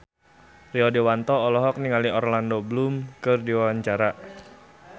Rio Dewanto olohok ningali Orlando Bloom keur diwawancara